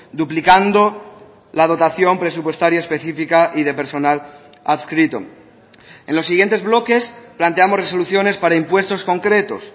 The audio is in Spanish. duplicando la dotación presupuestaria específica y de personal adscrito en los siguientes bloques planteamos resoluciones para impuestos concretos